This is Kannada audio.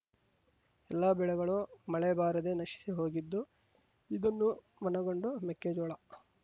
ಎಲ್ಲ ಬೆಳೆಗಳು ಮಳೆ ಬಾರದೆ ನಶಿಸಿ ಹೋಗಿದ್ದು ಇದನ್ನು ಮನಗೊಂಡು ಮೆಕ್ಕೆಜೋಳ